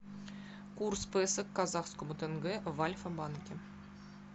курс песо к казахскому тенге в альфабанке